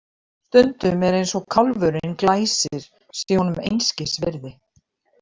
Stundum er eins og kálfurinn Glæsir sé honum einskis virði.